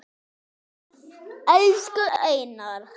Elsku Einar.